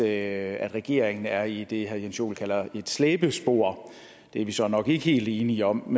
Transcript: at regeringen er i det herre jens joel kalder et slæbespor det er vi så nok ikke helt enige om